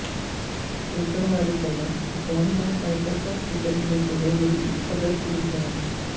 ਤਿਲਕਣ ਵਾਲੀ ਪੱਲਾ ਤਿਕੋਣੀ ਜਾਂ ਆਇਤਾਕਾਰ ਕਿਸਮ ਦੇ ਚਿਹਰੇ ਲਈ ਇੱਕ ਆਦਰਸ਼ ਰੂਪ ਹੈ